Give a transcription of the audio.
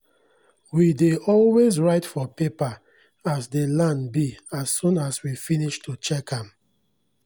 we dey always write for paper as dey land be as soon as we finis to check am